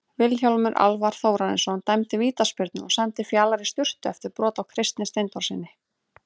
Vilhjálmur Alvar Þórarinsson dæmdi vítaspyrnu og sendi Fjalar í sturtu eftir brot á Kristni Steindórssyni.